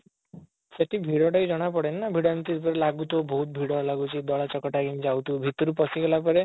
ସେଠି ଭିଡ ଟା ବି ଜଣା ପଡ଼େନି ନା ଭିଡ ଏମିତି ଲାଗୁଥିବ ବହୁତ ଭିଡ ଲାଗୁଛି ଦଳା ଚକଟା ହେଇକି ଯାଉଥିବ ଭିତରକୁ ପଶିଗଲା ପରେ